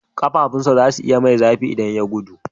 Ƙafafunsa za su yi zafi idan ya gudu.